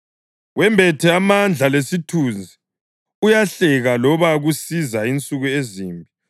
Wembethe amandla lesithunzi; uyahleka loba kusiza insuku ezimbi.